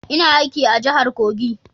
Ina aiki a jahar Kogi